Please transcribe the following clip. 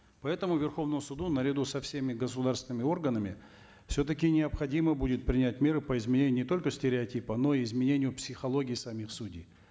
поэтому верховному суду наряду со всеми государственными органами все таки необходимо будет принять меры по изменению не только стереотипа но и изменению психологии самих судей